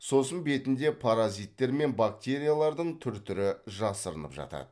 сосын бетінде паразиттер мен бактериялардың түр түрі жасырынып жатады